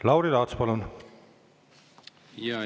Lauri Laats, palun!